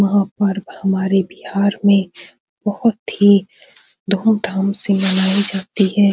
वहाँ पर हमारे बिहार में बहुत ही धूम-धाम से मनाई जाती है।